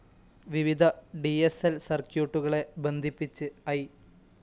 വിവിധ ഡി സ്‌ ൽ സർക്യൂട്ടുകളെ ബന്ധിപ്പിച്ച് ഐ.